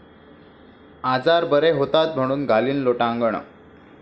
आजार बरे होतात म्हणून घालीन लोटांगण...